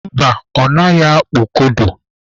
Mba, ọ naghị akpụ kodo.